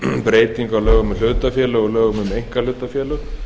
breytingu á lögum um hlutafélög og lögum um einkahlutafélög